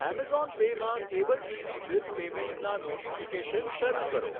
Amazon Pay માં cable TV bill પેમેંટસના notification શરૂ કરો.